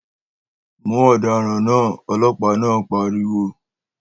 Mú ọ̀daràn náà, Ọlọpa náà pariwo